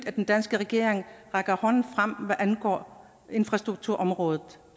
at den danske regering rækker hånden frem hvad angår infrastrukturområdet